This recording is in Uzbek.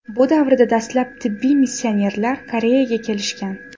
Bu davrda dastlab tibbiy missionerlar Koreyaga kelishgan.